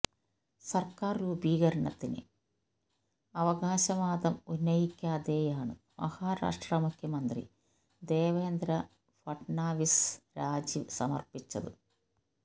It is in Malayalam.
സർക്കാർ രൂപീകണത്തിന് അവകാശവാദം ഉന്നയിക്കാതെയാണ് മഹാരാഷ്ട്ര മുഖ്യമന്ത്രി ദേവേന്ദ്ര ഫട്നാവിസ് രാജി സമർപ്പിച്ചത്